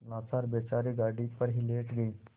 लाचार बेचारे गाड़ी पर ही लेट गये